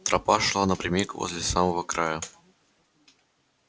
тропа шла напрямик возле самого края